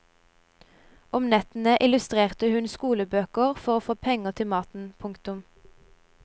Om nettene illustrerte hun skolebøker for å få penger til maten. punktum